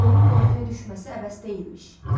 Onun qorxuya düşməsi əbəs deyilmiş.